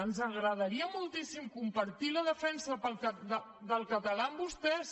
ens agradaria moltíssim compartir la defensa del català amb vostès